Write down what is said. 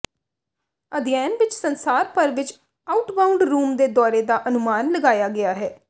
ਅਧਿਐਨ ਵਿੱਚ ਸੰਸਾਰ ਭਰ ਵਿੱਚ ਆਊਟਬਾਉਂਡ ਰੁਮ ਦੇ ਦੌਰੇ ਦਾ ਅਨੁਮਾਨ ਲਗਾਇਆ ਗਿਆ ਹੈ